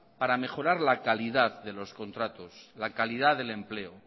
para mejorar la calidad de los contratos la calidad del empleo